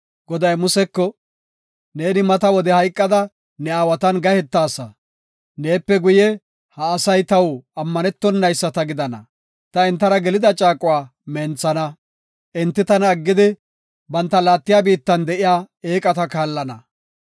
Goday Museko, “Neeni mata wode hayqada ne aawatan gahetaasa. Neepe guye, ha asay taw ammanetonayisata gidana; ta entara gelida caaquwa menthana. Enti tana aggidi, banta laattiya biittan de7iya eeqata kaallana.